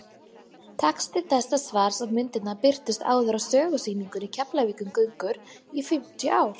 texti þessa svars og myndirnar birtust áður á sögusýningunni keflavíkurgöngur í fimmtíu ár